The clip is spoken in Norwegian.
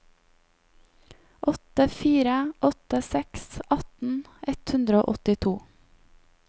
åtte fire åtte seks atten ett hundre og åttito